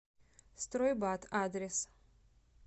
стройбат адрес